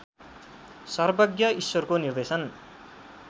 सर्वज्ञ ईश्वरको निर्देशन